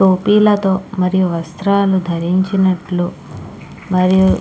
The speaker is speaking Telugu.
మరియు వస్త్రాలని ధరించినట్టు మరియు--